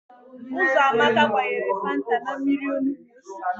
Ụzọamaka gbanyere fanta na mmiri onugbo o siri.